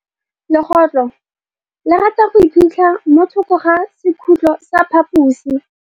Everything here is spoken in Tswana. Legôtlô le rata go iphitlha mo thokô ga sekhutlo sa phaposi.